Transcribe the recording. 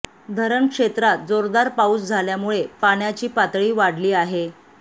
धरण क्षेत्रात जोरदार पाऊस झाल्यामुळे पाण्याची पातळी वाढली आहे